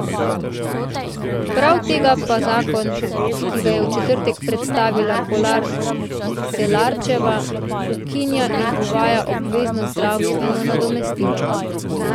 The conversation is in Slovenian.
Prav tega pa zakon, ki ga je v četrtek predstavila Kolar Celarčeva, ukinja in uvaja obvezno zdravstveno nadomestilo.